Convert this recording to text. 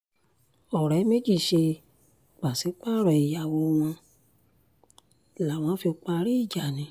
ọ̀rẹ́ méjì ṣe pàṣípààrọ̀ ìyàwó wọn làwọn fi parí ìjà ni